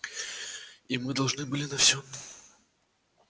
и мы должны были на всём